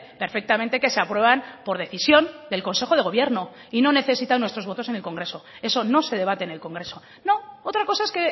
perfectamente que se aprueban por decisión del consejo de gobierno y no necesitan nuestros votos en el congreso eso no se debate en el congreso no otra cosa es